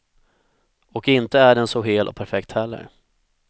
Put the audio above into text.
Och inte är den så hel och perfekt heller.